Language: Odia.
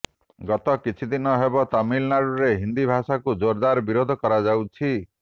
ଗତ କିଛିଦିନ ହେବ ତାମିଲନାଡୁରେ ହିନ୍ଦୀ ଭାଷାକୁ ଜୋରଦାର ବିରୋଧ କରାଯାଉଛି